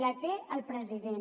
la té el president